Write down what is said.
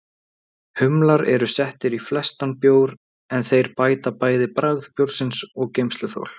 Bergbúarnir stóðu fyrir neðan hana og störðu líka á þessa furðusýn.